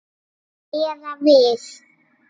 Eða við.